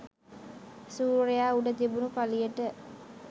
සූර්යයා උඩ තිබුණු පළියට.